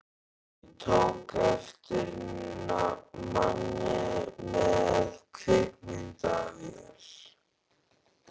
Ég tók eftir manni með kvikmyndavél.